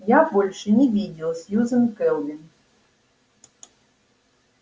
я больше не видел сьюзен кэлвин